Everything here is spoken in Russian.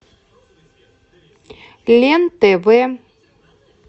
лен тв